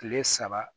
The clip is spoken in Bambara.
Kile saba